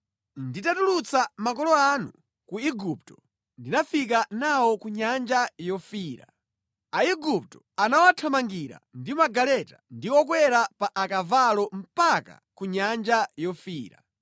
Nditatulutsa makolo anu ku Igupto ndinafika nawo ku Nyanja Yofiira. Aigupto anawathamangira ndi magaleta ndi okwera pa akavalo mpaka ku Nyanja Yofiira.